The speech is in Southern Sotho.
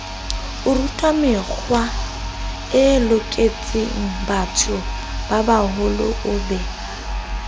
orutamekgwae loketsengbatho babaholo o be